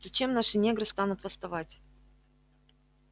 зачем наши негры станут восставать